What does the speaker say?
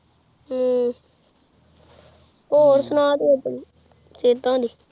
ਹ੍ਮ੍ਮਮ੍ਮ੍ਮ ਹੋਰ ਸੁਨਾ ਤੂ